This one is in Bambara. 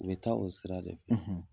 U bɛ taa o sira de fɛ.